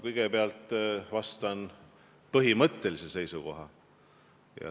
Kõigepealt ütlen põhimõttelise seisukoha.